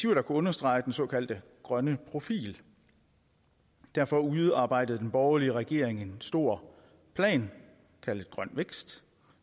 understrege den såkaldte grønne profil derfor udarbejdede den borgerlige regering en stor plan kaldet grøn vækst